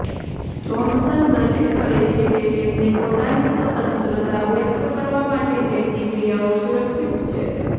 Johnson દલીલ કરે છે કે તેમની પોતાની સ્વતંત્રતા વ્યક્ત કરવા માટે તેમની ક્રિયાઓ સુરક્ષિત છે